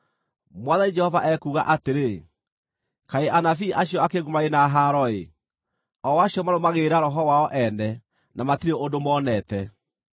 Mwathani Jehova ekuuga atĩrĩ: Kaĩ anabii acio akĩĩgu marĩ na haro-ĩ, o acio marũmagĩrĩra roho wao ene na matirĩ ũndũ monete!